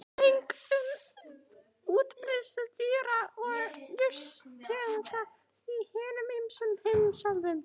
Gögn um útbreiðslu dýra- og jurtategunda í hinum ýmsu heimsálfum.